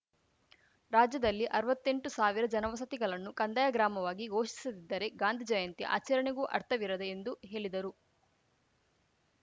ರಾಜ್ಯದಲ್ಲಿ ಅರ್ವತ್ತೆಂಟು ಸಾವಿರ ಜನವಸತಿಗಲನ್ನು ಕಂದಾಯ ಗ್ರಾಮವಾಗಿ ಘೋಷಿಸದಿದ್ದರೆ ಗಾಂಧಿ ಜಯಂತಿ ಆಚರಣೆಗೂ ಅರ್ಥವಿರದು ಎಂದು ಹೇಲಿದರು